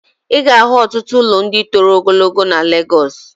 I ga-ahụ ọtụtụ ụlọ ndị toro ogologo na Legọs.